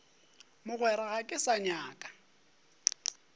mogwera ga ke sa nyaka